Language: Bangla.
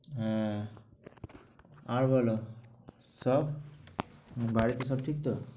হ্যাঁ, আর বলো সব, বাড়িতে সব ঠিক তো?